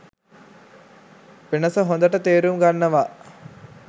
වෙනසහොඳට තේරුම් ගන්නවා.